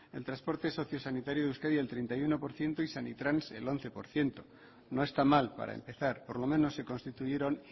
el transporte socio sanitario de euskadi el treinta y uno por ciento y sanitrans el once por ciento no está mal para empezar por lo menos se constituyeron